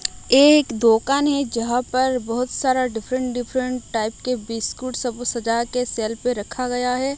एक दोकान है जहां पर बहोत सारा डिफरेंट डिफरेंट टाइप के बिस्कुट सब को सजाके सेल पे रखा गया है।